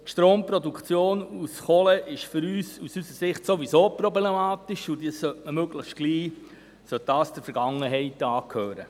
Die Stromproduktion aus Kohle ist aus unserer Sicht sowieso problematisch, und diese sollte möglichst bald der Vergangenheit angehören.